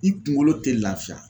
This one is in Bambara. I kuŋolo te lafiya